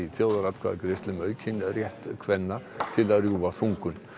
þjóðaratkvæðagreiðslu um aukinn rétt kvenna til að rjúfa þungun